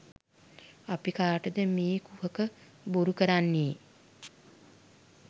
අපි කාටද මේ කුහක බොරු කරන්නේ?